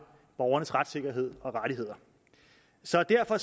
borgernes retssikkerhed og rettigheder så derfor